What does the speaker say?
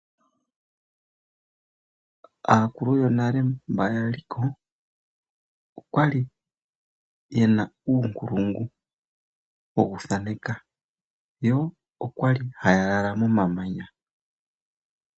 Aakulu yonale mboka yali ko okwali yena uunkulungu wokuthaneka, yo okwali haya lala momamanya.